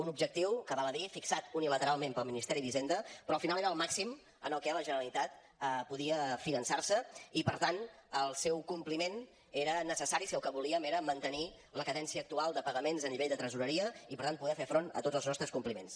un objectiu que val a dir fixat unilateralment pel ministeri d’hisenda però al final era el màxim en el que la generalitat podia finançar se i per tant el seu compliment era necessari si el que volíem era mantenir la cadència actual de pagaments a nivell de tresoreria i per tant poder fer front a tots els nostres compliments